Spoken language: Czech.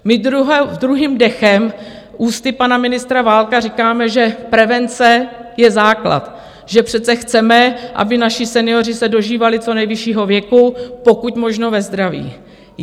My druhým dechem ústy pana ministra Válka říkáme, že prevence je základ, že přece chceme, aby naši senioři se dožívali co nejvyššího věku, pokud možno ve zdraví.